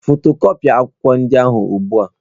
Fotokọpia akwụkwọ ndị a ugbu a!